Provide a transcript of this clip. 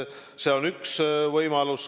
See on üks võimalusi.